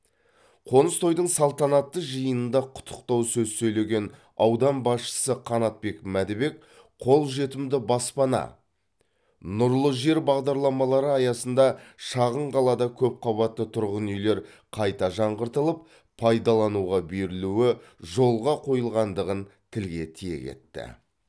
қоныс тойдың салтанатты жиынында құттықтау сөз сөйлеген аудан басшысы қанатбек мәдібек қолжетімді баспана нұрлы жер бағдарламалары аясында шағын қалада көпқабатты тұрғын үйлер қайта жаңғыртылып пайдалануға берілуі жолға қойылғандығын тілге тиек етті